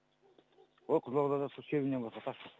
ой қызылордада сол шебеньнен басқа тас жоқ қой